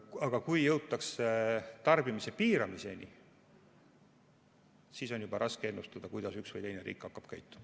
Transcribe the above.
Aga kui jõutakse tarbimise piiramiseni, siis on juba raske ennustada, kuidas üks või teine riik hakkab käituma.